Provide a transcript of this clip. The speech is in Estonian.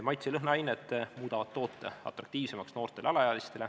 Maitse- ja lõhnaained muudavad toote atraktiivseks noortele alaealistele.